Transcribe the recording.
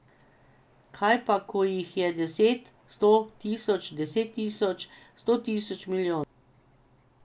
Kaj pa ko jih je deset, sto, tisoč, deset tisoč, sto tisoč, milijon?